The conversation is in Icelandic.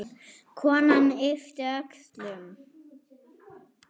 Konan yppti öxlum.